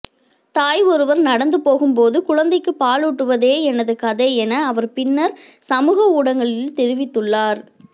தாய் ஒருவர் நடந்துபோகும்போது குழந்தைக்கு பாலூட்டுவதே எனது கதை என அவர் பின்னர் சமூக ஊடகங்களில் தெரிவித்துள்ளார்